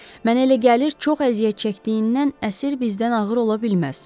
Mənə elə gəlir, çox əziyyət çəkdiyindən əsir bizdən ağır ola bilməz.